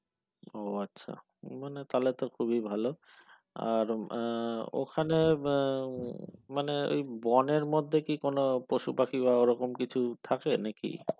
ও আচ্ছা মানে তো খুবই ভালো আহ আর ওখানে আহ মানে ওই বনের মধ্যে কি কোন পশু পাখি বা ওরকম কিছু থাকে নাকি